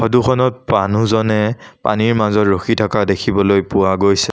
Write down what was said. Photo খনত মানুহজনে পানীৰ মাজত ৰখি থকা দেখিবলৈ পোৱা গৈছে।